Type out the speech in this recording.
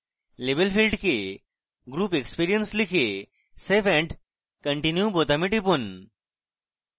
label field we group experience লিখে save and continue বোতামে টিপুন